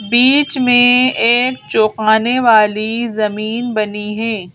बीच में एक चौकाने वाली जमीन बनी है।